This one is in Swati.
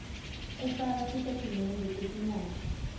kufaka titatimende tetimali